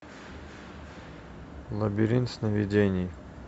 лабиринт сновидений